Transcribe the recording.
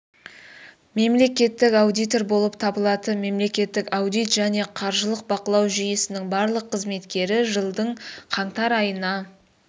мемлекеттік аудитор болып табылатын мемлекеттік аудит және қаржылық бақылау жүйесінің барлық қызметкері жылдың қаңтар айына